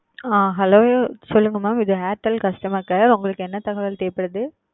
ஆஹ் hello சொல்லுங்க mam இது airtel customer care உங்களுக்கு என்ன தகவல் தேவை படுது